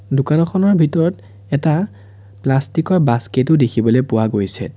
দোকানখনৰ ভিতৰত এটা প্লাষ্টিক ৰ বাস্কেটো দেখিবলৈ পোৱা গৈছে।